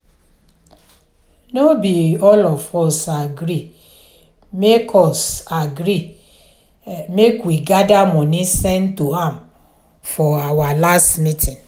no be all of us agree make us agree make we gather money send to am for our last meeting